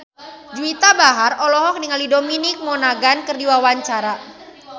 Juwita Bahar olohok ningali Dominic Monaghan keur diwawancara